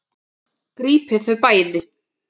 Grípið þau bæði!